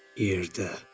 Yerdə.